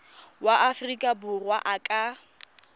wa aforika borwa a ka